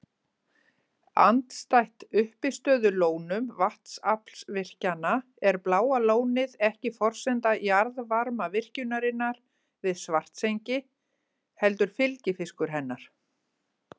Andstætt uppistöðulónum vatnsaflsvirkjana er Bláa lónið ekki forsenda jarðvarmavirkjunarinnar við Svartsengi heldur fylgifiskur hennar.